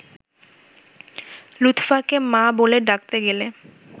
লুৎফাকে ‘মা’ বলে ডাকতে গেলে